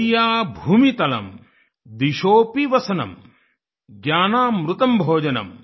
शय्या भूमितलं दिशोSपि वसनं ज्ञानामृतं भोजनं